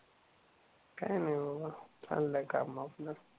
काही नाही बाबा चाललंय काम आपलं